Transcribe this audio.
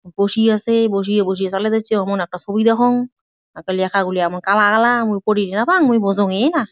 বসি আছে। বসি বসিইয়া চালায় দেচ্ছে ওমন একটা ছবি দেখং হাতের লেখাগুলি এমন কালা কালা মুই পড়ি না পাং মুই বোঝং ই না।